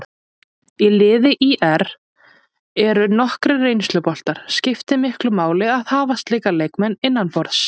Í liði ÍR eru nokkrir reynsluboltar, skiptir miklu máli að hafa slíka leikmenn innanborðs?